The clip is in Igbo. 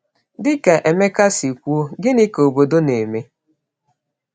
Dị ka Emeka si kwuo, gịnị ka obodo na-eme?